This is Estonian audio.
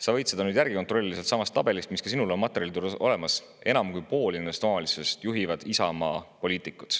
Sa võid seda nüüd kontrollida sellestsamast tabelist, mis ka sinul on materjalides olemas: enam kui pooli nendest omavalitsustest juhivad Isamaa poliitikud.